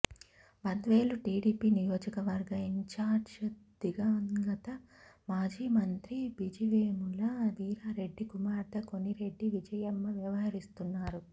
బద్వేలు టీడీపీ నియోజక వర్గ ఇన్చార్జ్గా దివంగత మాజీ మంత్రి బిజివేముల వీరారెడ్డి కుమార్తె కొనిరెడ్డి విజయమ్మ వ్యవహరిస్తున్నారు